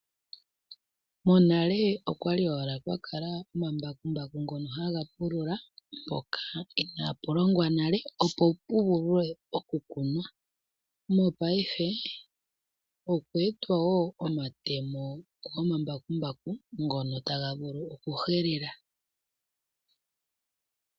Monale okwa li owala kwa kala omambakumbaku ngono haga pulula mpoka inaa pu longwa nale, opo pu vule oku kunwa. Mopaife okwe etwa wo omatemo gomambakumbaku ngono taga vulu oku helela.